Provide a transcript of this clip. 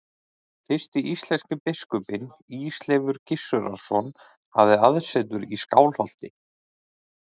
Fyrsti íslenski biskupinn, Ísleifur Gissurarson, hafði aðsetur í Skálholti.